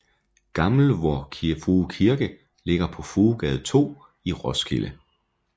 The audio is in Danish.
Gammel Vor Frue Kirke ligger på Fruegade 2 i Roskilde